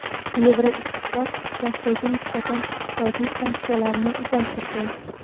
Yevroittifoq Rossiyaga nisbatan iqtisodiy sanksiyalarni uzaytirdi.